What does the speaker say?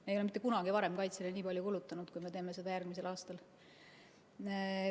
Me ei ole mitte kunagi varem kaitsele nii palju kulutanud, kui me teeme seda järgmisel aastal.